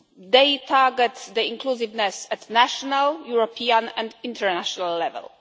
They target inclusiveness at national, European and international level.